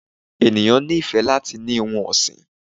eníyan ní ifé latí ni ohún ọsín